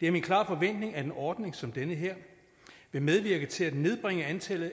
det er min klare forventning at en ordning som den her vil medvirke til at nedbringe antallet